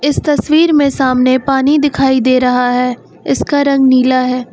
इस तस्वीर में सामने पानी दिखाई दे रहा है इसका रंग नीला है।